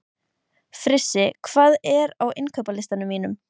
Frissi, hvað er á innkaupalistanum mínum?